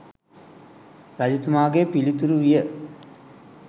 රජතුමාගේ පිළිතුරු විය